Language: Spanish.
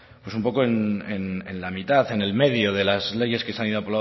un poco en la mitad en el medio de las leyes que se han ido